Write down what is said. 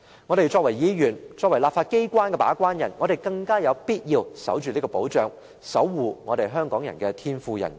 我們身為議員及立法機關的把關人，更有必要守住這項保障，守護香港人的天賦人權。